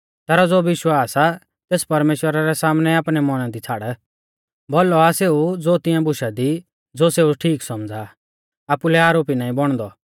तैरौ ज़ो विश्वास आ तेस परमेश्‍वरा रै सामनै आपणै मौना दी छ़ाड़ भौलौ आ सेऊ ज़ो तिंया बुशा दी ज़ो सेऊ ठीक सौमझ़ा आ आपुलै आरोपी नाईं बौणदौ